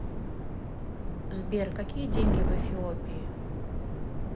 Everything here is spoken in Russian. сбер какие деньги в эфиопии